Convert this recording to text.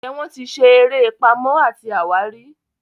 njé wón tí ṣe eré Pàmò àti àwárí?